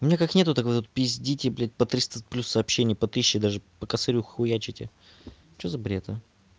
меня как нет так вы тут пиздите блять по триста плюс сообщений по тысяче даже по косарю хуячите что за бред а